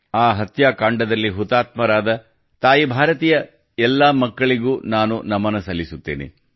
ಆ ಹತ್ಯಾಕಾಂಡದಲ್ಲಿ ಹುತಾತ್ಮರಾದ ತಾಯಿ ಭಾರತಿಯ ಎಲ್ಲಾ ಮಕ್ಕಳಿಗೂ ನಾನು ನಮನ ಸಲ್ಲಿಸುತ್ತೇನೆ